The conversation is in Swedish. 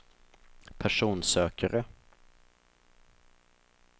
personsökare